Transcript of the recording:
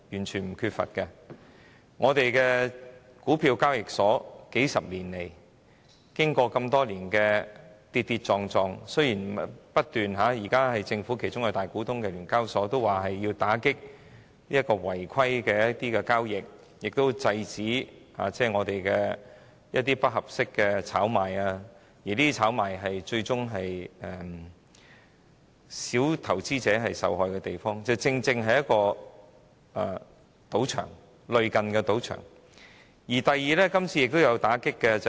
香港股票交易所經過數十年的跌跌撞撞，儘管由政府作為大股東的聯交所現時表示要打擊違規交易，並且遏止不合適的炒賣活動，但交易所正是類近賭場的地方，因為股票炒賣最終會導致小投資者受害。